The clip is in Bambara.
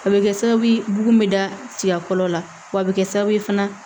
A bɛ kɛ sababu ye bugun bɛ da fɔlɔ la wa a bɛ kɛ sababu ye fana